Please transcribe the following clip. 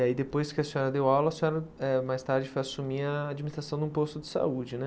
E aí depois que a senhora deu aula, a senhora eh mais tarde foi assumir a administração de um posto de saúde, né?